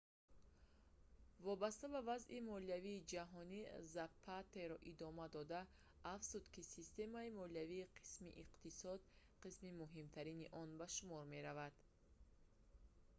вобаста ба вазъи молиявии ҷаҳонӣ запатеро идома дода афзуд ки системаи молиявӣ қисми иқтисод қисми муҳимтарин он ба шумор меравад